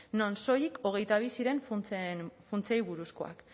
non soilik hogeita bi ziren funtsei buruzkoak